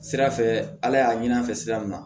Sira fɛ ala y'a ɲini an fɛ sira min na